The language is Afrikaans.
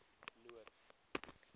noord